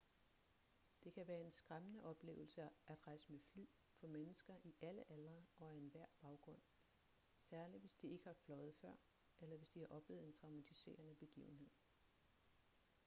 det kan være en skræmmende oplevelse at rejse med fly for mennesker i alle aldre og af enhver baggrund særligt hvis de ikke har fløjet før eller hvis de har oplevet en traumatiserende begivenhed